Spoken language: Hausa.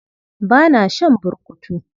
Ba na shan burkutu.